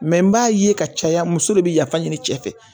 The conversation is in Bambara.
n b'a ye ka caya muso de be yafa ɲini cɛ fɛ